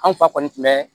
An fa kɔni tun bɛ